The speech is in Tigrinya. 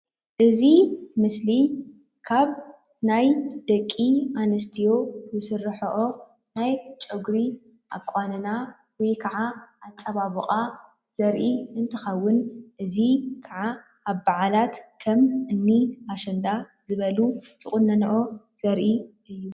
እዚ ምስሊ ካብ ናይ ደቂ አንስትዮ ዝስረሐኦ ናይ ፀጉሪ አቃንና ወይ ካዓ አፀባብቃ ዘርኢ እንትከውን እዚ ካዓ አብ በዓላትከም እኒ አሸንዳ ዝበሉ ዝቅኖኖኦ ዘርኢ እዩ፡፡